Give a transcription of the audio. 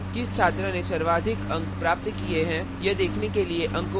किस छात्र ने सर्वाधिक अंक प्राप्त किए हैं यह देखने के लिए अंकों की तुलना करें